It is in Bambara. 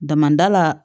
Damada la